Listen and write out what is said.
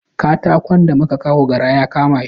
Katakon da muka kawo gara ya kama shi.